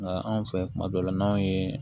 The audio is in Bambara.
Nka anw fɛ kuma dɔw la n'anw ye